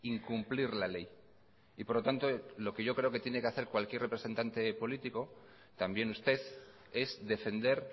incumplir la ley y por lo tanto lo que yo creo que tiene que hacer cualquier representante político también usted es defender